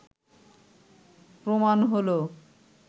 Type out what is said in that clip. প্রমাণ হলো